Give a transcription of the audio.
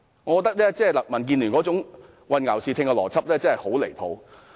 我認為民建聯這種混淆視聽的邏輯真是十分離譜。